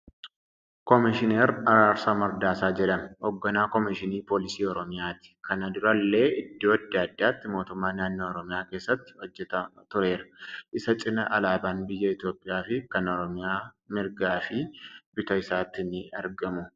Komishinar Araarsaa Mardaasaa jedhama. Hogganaa Komishinii Polisii Oromiyaati. Kana durallee iddoo adda addaatti Mootummaa Naannoo Oromiyaa keessattii hojjataa tureera. Isa cinaa alaabaan biyya Itoophiyaa fi kan Oromiyaa mirgaa fi bitaa isaatti ni argamu.